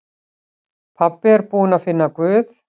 Pabbi búinn að finna Guð!